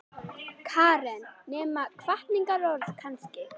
Karen: Nema hvatningarorð kannski?